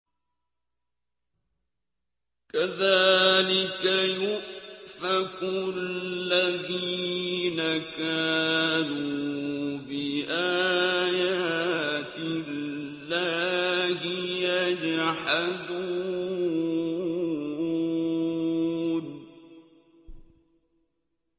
كَذَٰلِكَ يُؤْفَكُ الَّذِينَ كَانُوا بِآيَاتِ اللَّهِ يَجْحَدُونَ